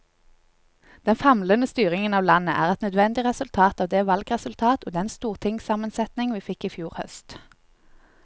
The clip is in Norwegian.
Den famlende styringen av landet er et nødvendig resultat av det valgresultat og den stortingssammensetning vi fikk i fjor høst.